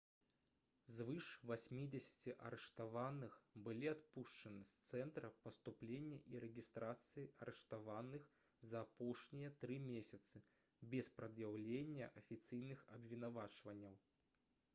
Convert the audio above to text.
звыш 80 арыштаваных былі адпушчаны з цэнтра паступлення і рэгістрацыі арыштаваных за апошнія 3 месяцы без прад'яўлення афіцыйных абвінавачванняў